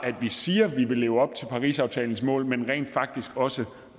siger at vi vil leve op til parisaftalens mål men rent faktisk også